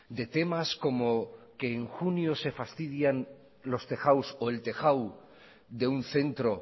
de temas como que en junio se fastidian los tejados o el tejado de un centro